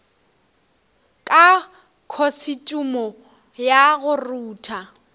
ka khosetšhumo ya go rutha